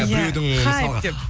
ия хайп деп